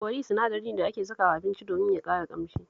Kori sinadari ne da ake sakawa abincin domin ya ƙara ƙamshi